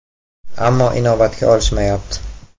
Ammo inobatga olishmayapti.